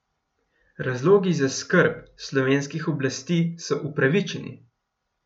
Razlogi za skrb slovenskih oblasti so upravičeni.